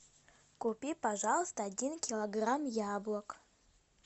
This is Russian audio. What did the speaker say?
купи пожалуйста один килограмм яблок